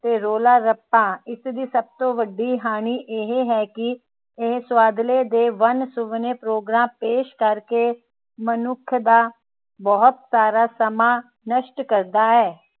ਤੇ ਰੌਲਾ ਰੱਪਾ ਇਸਦੀ ਸਭ ਤੋਂ ਵੱਡੀ ਹਾਣੀ ਇਹ ਹੈ ਕਿ ਇਹ ਸੁਵਾਦਲੇ ਤੇ ਵੰਨ ਸੁਵੰਨੇ ਪ੍ਰੋਗਰਾਮ ਪੇਸ਼ ਕਰ ਕੇ ਮਨੁੱਖ ਦਾ ਬਹੁਤ ਸਾਰਾ ਸਮਾਂ ਨਸ਼ਟ ਕਰਦਾ ਹੈ